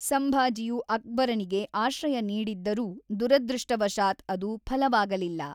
ಸಂಭಾಜಿಯು ಅಕ್ಬರನಿಗೆ ಆಶ್ರಯ ನೀಡಿದ್ದರೂ ದುರದೃಷ್ಟವಶಾತ್‍ ಅದು ಫಲವಾಗಲಿಲ್ಲ.